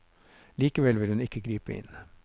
Likevel vil hun ikke gripe inn.